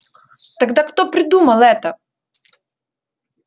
тогда кто придумал это